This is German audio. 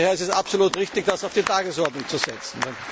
Daher ist es absolut richtig, das auf die Tagesordnung zu setzen.